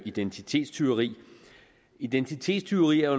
identitetstyveri identitetstyveri er